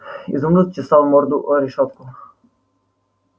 изумруд чесал морду о решётку